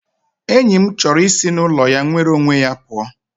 Enyi m chọrọ isi n'ụlọ ya nwere onwe ya pụọ